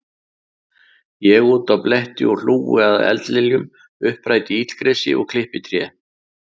Ég úti á bletti og hlúi að eldliljum, uppræti illgresi, klippi trén.